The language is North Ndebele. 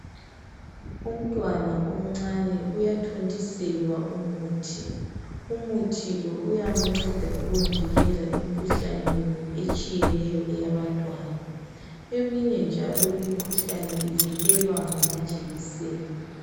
Umntwana omncane uyathontiselwa umuthi umuthi lo uyamnceda ukuvikela imkhuhlaneni etshiyeneyo eyabantwana eminye njalo imkhuhlane ivikelwa ngamajekiseni